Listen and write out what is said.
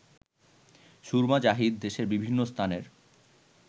সুরমা জাহিদ দেশের বিভিন্ন স্থানের